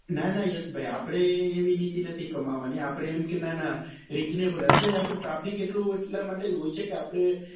ના ના યશ ભાઈ આપડે એવી નીતિ નથી કમાવા ની આપડે એમ કે ના ના reasonable એટલે જ આપડે traffic એટલું એટલા માટે જ હોય છે કે આપડે